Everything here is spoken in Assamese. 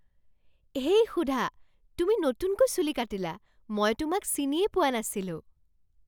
হেই সুধা, তুমি নতুনকৈ চুলি কাটিলা! মই তোমাক চিনিয়েই পোৱা নাছিলোঁ!